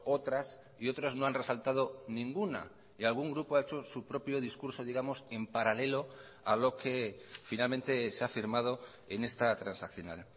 otras y otros no han resaltado ninguna y algún grupo ha hecho su propio discurso digamos en paralelo a lo que finalmente se ha firmado en esta transaccional